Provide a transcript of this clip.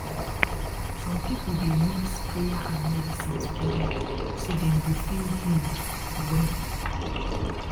some people dey mix prayer and medicine together so dem go feel healed well